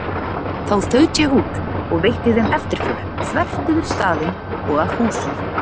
Þá þaut ég út og veitti þeim eftirför þvert yfir staðinn og að húsum